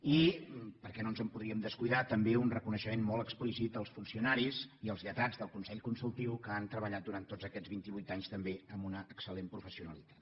i perquè no ens podríem descuidar també un reconeixement molt explícit als funcionaris i als lletrats del consell consultiu que han treballat durant tots aquests vint i vuit anys també amb una excel·lent professionalitat